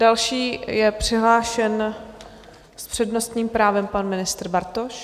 Další je přihlášen s přednostním právem pan ministr Bartoš.